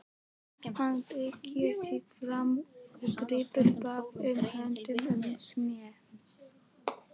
Hann beygir sig fram og grípur báðum höndum um hnén.